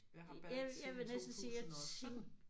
Jeg har badet siden 2017